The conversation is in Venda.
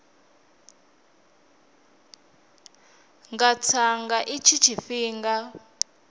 nga tsa nga itshi tshifhinga